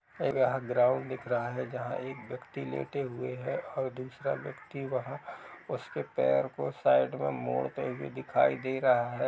यह ग्राउंड दिख रहा है जहाँ एक व्यक्ति लेटे हुए है और दूसरा व्यक्ति वह उसके पैर को साइड पे मोड़ते हुए दिखाई दे रहा है।